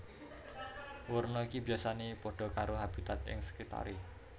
Werna iki biyasané padha karo habitat ing sekitaré